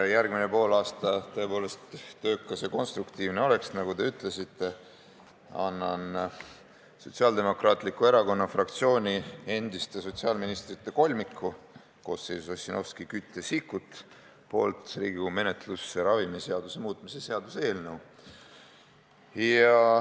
Et järgmine poolaasta oleks tõepoolest töökas ja konstruktiivne, nagu te ütlesite, annan Sotsiaaldemokraatliku Erakonna fraktsiooni endiste sotsiaalministrite kolmiku, Ossinovski, Küti ja Sikkuti nimel Riigikogu menetlusse ravimiseaduse muutmise seaduse eelnõu.